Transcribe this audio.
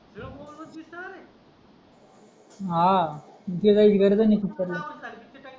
हा कुठे जायची गरजही नाही पिक्चरला